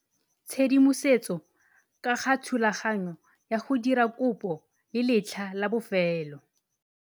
Tshedimosetso ka ga thulaganyo ya go dira kopo le letlha la bofelo.